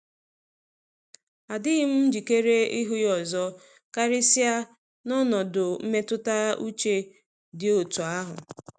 Adịghị m njikere ịhụ ha ọzọ, karịsịa n'ọnọdụ mmetụta uche dị otú um ahụ.